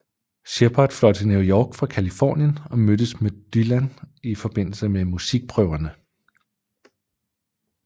Shepard fløj til New York fra Californien og mødtes med Dylan i forbindelse med musikprøverne